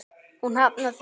Hún hafnar því.